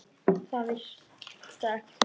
Það vigtar ekki þungt.